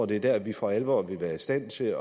det er der vi for alvor vil være i stand til